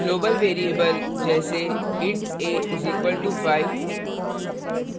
global variable जैसे: int a = 5 &